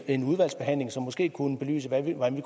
en udvalgsbehandling som måske kunne belyse hvordan